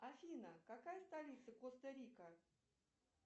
афина какая столица коста рика